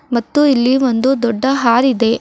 ಮತ್ತು ಇಲ್ಲಿ ಒಂದು ದೊಡ್ಡ ಹಾರ್ ಇದೆ.